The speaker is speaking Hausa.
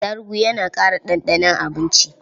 Atarugu yana ƙara ɗanɗanon abinci.